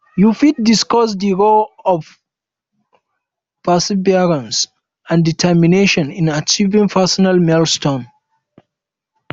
you fit discuss di role of perseverance and determination um in achieving personal milestones um